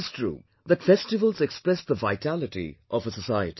It is true that festivals express the vitality of a society